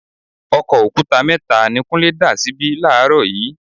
Ọkọ̀ òkúta mẹ́ta ni Kúnlé dà síbí làárọ̀ yìí.